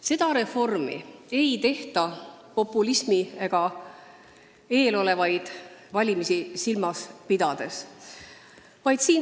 Seda reformi ei tehta populismi ega eesolevaid valimisi silmas pidades.